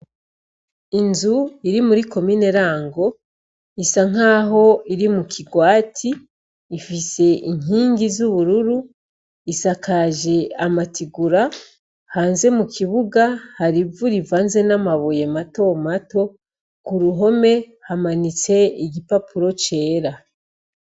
Inzu iri muri Komine Rango, isa nk'aho iri mu kigwati. Ifise inkingi z'ubururu. Isakaje amatigura. Hanze mu kibuga hari ivu rivanze n'amabuye matomato. Ku ruhome hamanitse igipapuro cera.